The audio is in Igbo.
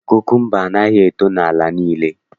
Kukumba anaghị eto n'ala niile